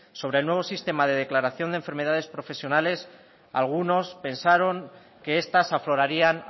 sobre el nuevo sistema de declaración de enfermedades profesionales algunos pensaron que estas aflorarían